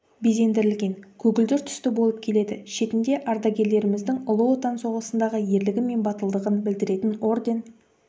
безендірілген көгілдір түсті болып келеді шетінде ардагерлеріміздің ұлы отан соғысындағы ерлігі мен батылдығын білдіретін орден